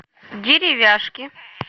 деревяшки